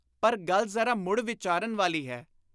ਪਰ ਗੱਲ ਜ਼ਰਾ ਮੁੜ ਵਿਚਾਰਨ ਵਾਲੀ ਹੈ।